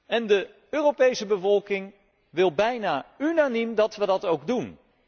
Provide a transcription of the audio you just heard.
En de Europese bevolking wil bijna unaniem dat wij dat ook doen.